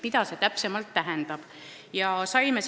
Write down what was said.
Mida see täpsemalt tähendab?